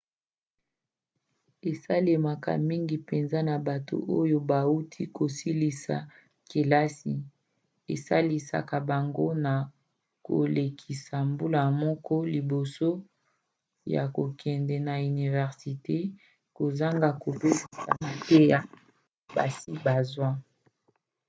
esalemaka mingi mpenza na bato oyo bauti kosilisa kelasi esalisaka bango na kolekisa mbula moko liboso ya kokende na université kozanga kobebisa mateya basi bazwa